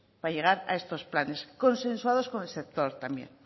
para llegar a estos planes consensuados con el sector también